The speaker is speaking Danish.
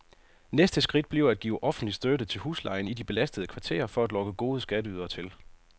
Næste skridt bliver at give offentlig støtte til huslejen i de belastede kvarterer for at lokke gode skatteydere til.